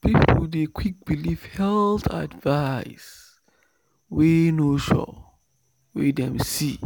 people dey quick believe health advice wey no sure wey dem see